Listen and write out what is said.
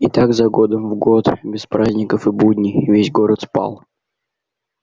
и так за годом в год без праздников и будней весь город спал